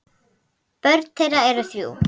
Börn þeirra eru þrjú.